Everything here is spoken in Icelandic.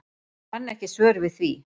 Ég kann ekki svör við því.